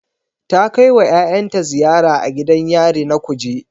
Ta kai wa yayanta ziyara a gidan yari na Kuje